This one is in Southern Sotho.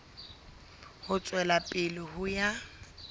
ho tswela pele ho ya